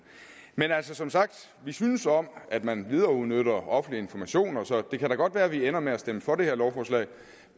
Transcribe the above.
men altså som sagt vi synes om at man videreudnytter offentlige informationer så det kan da godt være at vi ender med at stemme for det her lovforslag